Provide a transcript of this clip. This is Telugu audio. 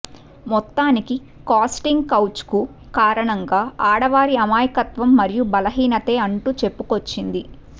మొత్తానికి కాస్టింగ్ కౌచ్కు కారణంగా ఆడవారి అమాయకత్వం మరియు బలహీనతే అంటూ చెప్పుకొచ్చింది